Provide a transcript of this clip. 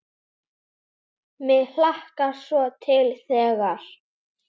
Mig hlakkar svo til þegar.